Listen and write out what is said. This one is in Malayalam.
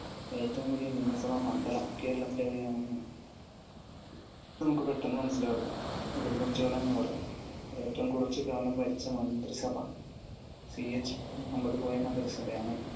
ഏറ്റവും വലിയ നിയമസഭാ മണ്ഡലം കേരളത്തിൽ എവിടെയാണെന്ന് നമുക്ക് പെട്ടെന്ന് മനസിലാവില്ല. ഉടുമ്പൻചോല എന്ന് പറയും. ഏറ്റവും കുറവ് കാലം ഭരിച്ച മന്ത്രിസഭ CH മുഹമ്മദ്‌കോയ മന്ത്രിസഭയാണ്.